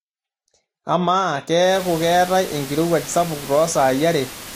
amaa keeku keetae enkirowuaj sapuk toosaai are